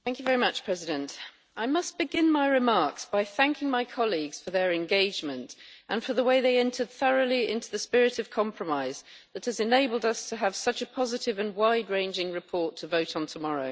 Mr President, I must begin my remarks by thanking my colleagues for their engagement and for the way they entered thoroughly into the spirit of compromise that has enabled us to have such a positive and wide ranging report to vote on tomorrow.